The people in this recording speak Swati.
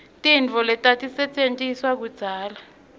tintfo letatisetjentiswa kudzala